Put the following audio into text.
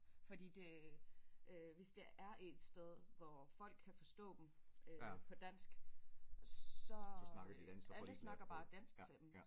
Fordi det øh hvis det er et sted hvor folk kan forstå dem øh på dansk så alle snakker bare dansk til dem